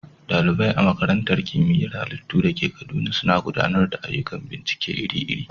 ɗalibai a Makarantar Kimiyyar Halittu da ke Kaduna suna gudanar da ayyukan bincike iri-iri.